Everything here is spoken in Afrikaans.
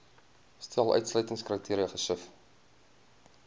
stel uitsluitingskriteria gesif